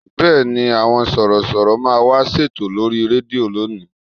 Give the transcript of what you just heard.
Bẹ́ẹ̀ni, àwọn Sọ̀rọ̀ṣọ̀rọ̀ máa wá ṣètò lórí rédíò lónìí